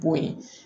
B'o ye